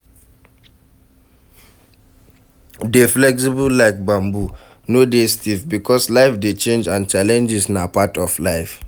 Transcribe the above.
E dey start for di mind, when you tell your self sey " I fit do this thing"